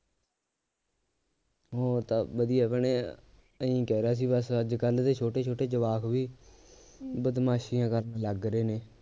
ਹੋਰ ਤਾਂ ਵਧੀਆ ਭੈਣੇ ਇਹੀ ਕਹਿ ਰਿਹਾ ਸੀ ਬੱਸ ਅੱਜਕੱਲਹ ਦੇ ਛੋਟੇ ਛੋਟੇ ਜਵਾਕ ਵੀ ਬਦਮਾਸ਼ੀਆਂ ਕਰਨ ਲੱਗ ਰਹੇ ਨੇ